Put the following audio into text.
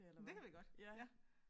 Det kan vi godt ja